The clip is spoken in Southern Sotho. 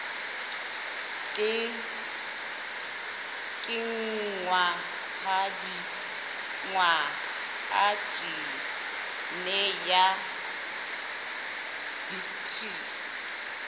kenngwa ha jine ya bt